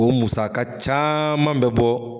O musaka caaman bɛ bɔ